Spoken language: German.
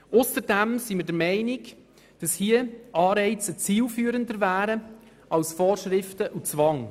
Zudem wirken hier Anreize zielführender als Vorschriften und Zwang.